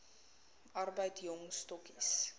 arbeid jong stokkies